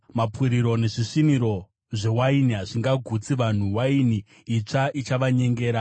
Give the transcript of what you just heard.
Mapuriro nezvisviniro zvewaini hazvingagutsi vanhu. Waini itsva ichavanyengera.